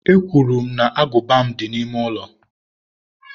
Ekwuru m na agụba m dị n'ime ụlọ.